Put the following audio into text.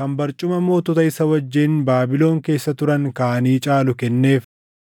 kan barcuma mootota isa wajjin Baabilon keessa turan kaanii caalu kenneef.